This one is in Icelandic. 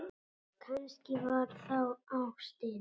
Kannski var það ástin.